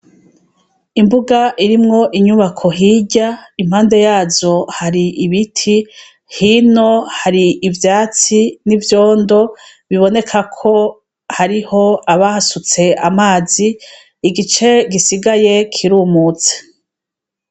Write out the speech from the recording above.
Imbug' irimw' inyubako, hiry' impande yazo har' ibiti, hino har' ivyatsi n' ivyondo bibonekako harih' abahasuts' amazi, igice gisigaye kirumutse.